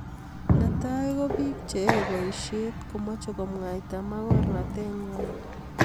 Netai ko bik che yae boishet komache komwaita magornatet ngwai